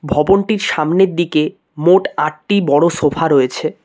ভবনটির সামনের দিকে মোট আটটি বড়ো সোফা রয়েছে।